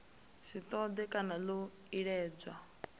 si ṱoḓee kana ḽo iledzwaho